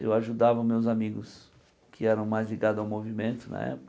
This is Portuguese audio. Eu ajudava os meus amigos que eram mais ligados ao movimento na época.